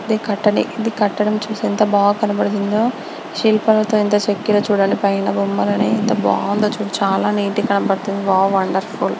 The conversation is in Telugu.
ఇది కట్టానికి కట్టడం చూడు ఎంత బా కనబడుతుంది. శిల్పాలతో ఎంత చెక్కారో చుడండి. పైన బొమ్మల్ని ఎంత బాగుందిచుడండి. చాలా నీట్ గ కనబడుతుంది. Wow wonderful --